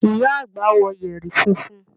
Ìyá àgbà wọ yẹ̀rì funfun.